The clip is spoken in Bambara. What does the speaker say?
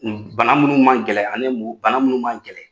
Bana minnu ma gɛlɛn bana minnu m'an kɛlɛ.